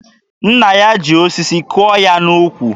Nna ya ji osisi kụọ ya n'ukwu.